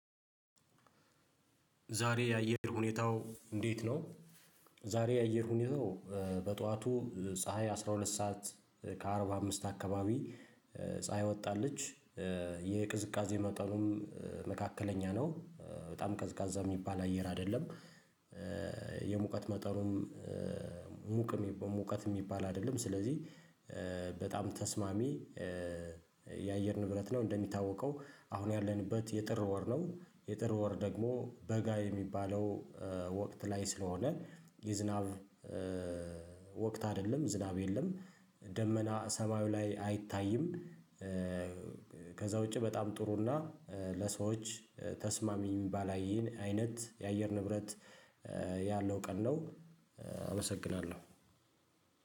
ዛሬ የአየር ሁኔታው እንዴት ነው? ዛሬ የአየር ሁኔታው በጠዋቱ ፀሀይ አስራ ሁለት ሰዓት ከአርባ አምስት አካባቢ ፀሀይ ወጣች። የቅዝቃዜ መጠኑም መካከለኛ ነው በጣም ቀዝቃዛ የሚባል አየር አይደለም። የሙቀት መጠኑም ሙቅ ሙቀት የሚባል አይደለም ስለዚህ በጣም ተስማሚ የአየር ንብረት ነው። እንደሚታወቀው አሁን ያለንበት የጥር ወር ነው የጥር ወር ደግሞ በጋ የሚባለው ወቅት ላይ ስለሆነ የዝናብ ወቅት አይደለም ዝናብ የለም ደመና ሰማዩ ላይ አይታይም። ከዛ ውጪ በጣም ጥሩና ለሰዎች ተስማሚ ባላይን አይነት የአየር ንብረት ያለው ቀን ነው። አመሰግናለሁ